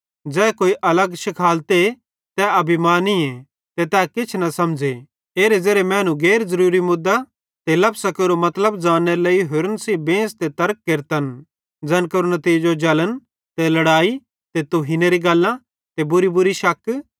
ज़ै कोई अलग शिखालते तै अभिमानी ते तै किछ न समझ़े एरे ज़ेरे मैनू गैर ज़रूरी मुद्दां ते लफसां केरो मतलब ज़ान्नेरे लेइ होरन सेइं बेंस ते तर्क केरतन ज़ैन केरो नितीजो जलन ते लड़ैई ते तुहीनरी गल्लां ते बुरीबुरी शक